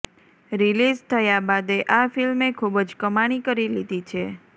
release થયા બાદે આ ફિલ્મે ખૂબજ કમાણી કરી લીધી છે